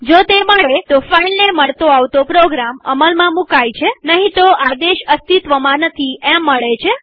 જો તે મળે તોફાઈલને મળતો આવતો પ્રોગ્રામ અમલમાં મુકાય છેનહીં તો આદેશ અસ્તિત્વમાં નથી એમ મળે છે